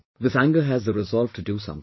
This anger has the resolve to do something